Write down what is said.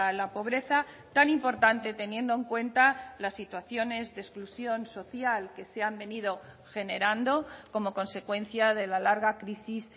la pobreza tan importante teniendo en cuenta las situaciones de exclusión social que se han venido generando como consecuencia de la larga crisis